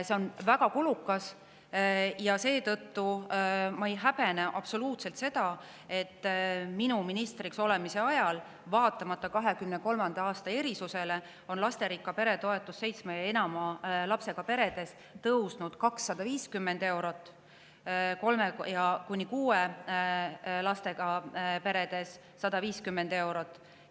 See on väga kulukas ja seetõttu ma ei häbene absoluutselt, et minu ministriks olemise ajal, vaatamata 2023. aasta erisusele, on lasterikka pere toetus seitsme ja enama lapsega peredes tõusnud 250 eurot ja kolme kuni kuue lapsega peredes 150 eurot.